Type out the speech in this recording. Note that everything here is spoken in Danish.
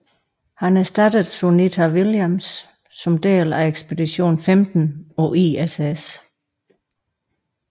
Han erstattede Sunita Williams som del af ekspedition 15 på ISS